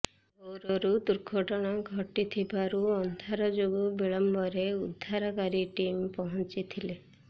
ଭୋରରୁ ଦୁର୍ଘଟଣା ଘଟିଥିବାରୁ ଅନ୍ଧାର ଯୋଗୁଁ ବିଳମ୍ବରେ ଉଦ୍ଧାରକାରୀ ଟିମ ପହଞ୍ଚଥିଲେ